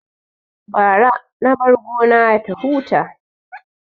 Bara na bar gona ya huta